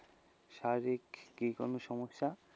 শারীরিক কি কোনো সমস্যা,